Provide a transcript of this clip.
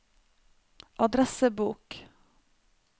adressebok